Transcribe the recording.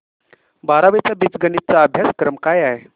बारावी चा बीजगणिता चा अभ्यासक्रम काय आहे